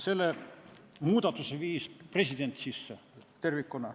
Selle muudatuse viis president sisse tervikuna.